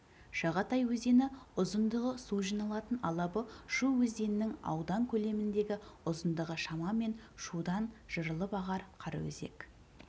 шатағай өзені ұзындығы су жиналатын алабы шу өзенінің аудан көлеміндегі ұзындығы шамамен шудан жырылып ағар қараөзек